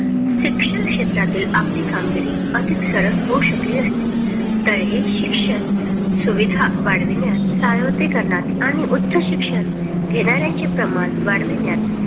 शिक्षण क्षेत्रातील आपली कामगिरी अधिक सरळ होऊ शकली असती. तर हे शिक्षण सुविधा वाढविण्यास सर्वत्रीकरणात आणि उच्च शिक्षण घेणाऱ्यांचे प्रमाण वाढविण्यात